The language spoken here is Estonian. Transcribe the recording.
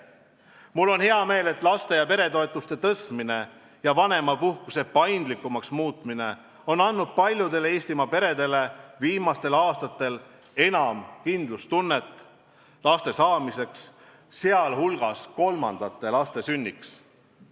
Mul on hea meel, et laste- ja peretoetuste tõstmine ja vanemapuhkuse paindlikumaks muutmine on andnud paljudele Eestimaa peredele viimastel aastatel enam kindlustunnet laste saamiseks, sh kolmandate laste sünniks.